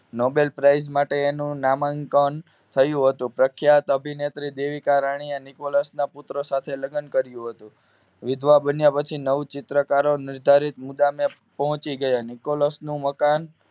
Nobel Prize માટે તેનું નામકરણ થયું હતું પ્રખ્યાત અભિનેત્રી દેવિકા રાણીએ નિકોલસ ના પુત્ર સાથે લગ્ન કર્યું હતું વિધવા બન્યા પછી નવ ચિત્રકારો નીધારી પહોંચી ગયા નિકોલસ નું મકાન